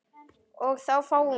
og þá fáum við